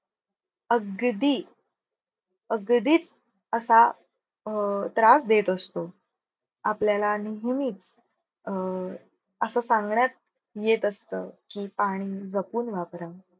अगदी अगदीच असा अं त्रास देत असतो. आपल्याला नेहमीच अं असं सांगण्यात येत असत की, पाणी जपून वापरा.